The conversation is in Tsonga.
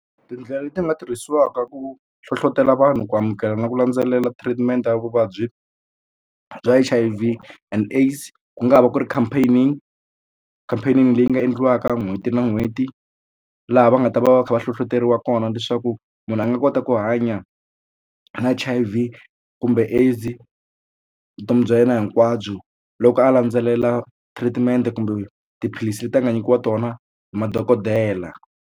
Tindlela leti nga tirhisiwaka ku hlohlotela vanhu ku amukela na ku landzelela treatment ya vuvabyi bya H_I_V and AIDS ku nga ha va ku ri campaign campaign leyi nga endliwaka n'hweti na n'hweti laha va nga ta va va va kha va hlohloteriwa kona leswaku munhu a nga kota ku hanya na H_I_V kumbe AIDS vutomi bya yena hinkwabyo loko a landzelela treatment kumbe tiphilisi leti a nga nyikiwa tona hi madokodela.